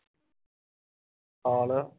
ਹਾਲ